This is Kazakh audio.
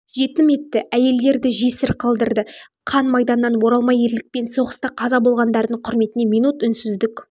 жетім етті әйелдерді жесір қалдырды қан майданнан оралмай ерлікпен соғыста қаза болғандардың құрметіне минут үнсіздік